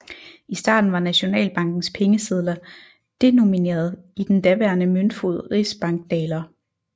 I starten var Nationalbankens pengesedler denomineret i den daværende møntfod rigsbankdaler